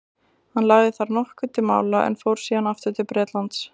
hann lagði þar nokkuð til mála en fór síðan aftur til bretlands